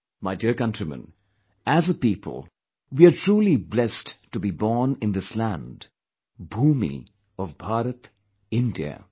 My dear countrymen, as a people, we are truly blessed to be born in this land, bhoomi of Bharat, India